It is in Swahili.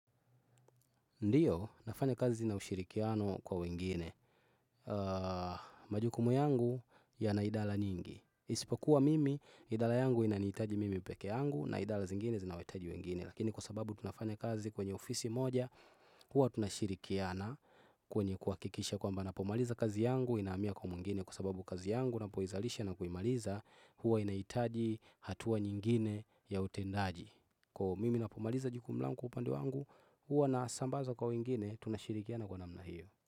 Ndiyo nafanya kazi na ushirikiano kwa wengine. Majukumu yangu yana idara nyingi. Isipokuwa mimi idara yangu inanihitaji mimi peke yangu na idara zingine zina wahitaji wengine. Lakini kwa sababu tunafanya kazi kwenye ofisi moja huwa tunashirikiana kwenye kuhakikisha kwamba napomaliza kazi yangu ninahamia kwa mwingine kwa sababu kazi yangu napoizalisha na kuimaliza huwa inahitaji hatua nyingine ya utendaji. Kwa hiyo mimi napomaliza jukumu langu kwa upande wangu, huwa nasambaza kwa wengine, tunashirikiana kwa namna hiyo.